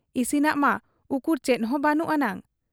ᱤᱥᱤᱱᱟᱜ ᱢᱟ ᱩᱠᱩᱨ ᱪᱮᱫ ᱦᱚᱸ ᱵᱟᱹᱱᱩᱜ ᱟᱱᱟᱝ ᱾